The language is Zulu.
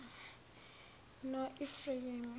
noefrayemi